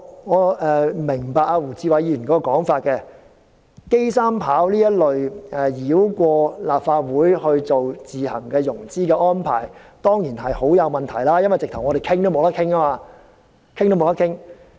我明白胡志偉議員的說法，機場三跑這一類繞過立法會作自行融資的安排當然很有問題，因為在立法會完全沒有討論的機會。